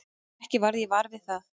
Ekki varð ég var við það.